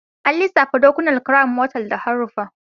An lissafta dakunan Crown motal da haruffa